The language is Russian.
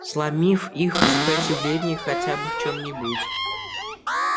сломив их сопротивление хотя бы в чём нибудь